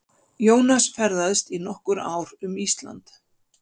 Jónas ferðaðist í nokkur ár um Ísland.